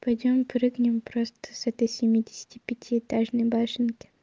пойдём прыгнем просто с этой семидесяти пяти этажной башенки